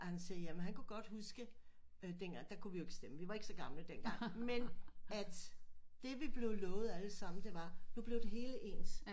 Og han siger jamen han ku godt huske øh dengang der kunne vi ikke stemme vi var ikke så gamle dengang men at det vi blev lovet alle sammen det var nu blev det hele ens